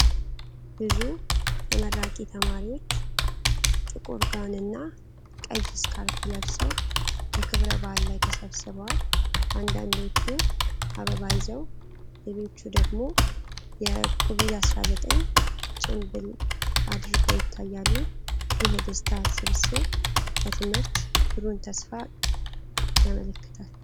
ብዙ ተመራቂ ተማሪዎች ጥቁር ጋውንና ቀይ ስካርፕ ለብሰው በክብረ በዓል ላይ ተሰብስበዋል። አንዳንዶቹ አበባ ይዘው ሌሎች ደግሞ የኮቪድ-19 ጭንብል አድርገው ይታያሉ። ይህ የደስታ ስብስብ ለትምህርት ብሩህ ተስፋን ያመለክታል።